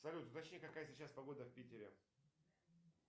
салют уточни какая сейчас погода в питере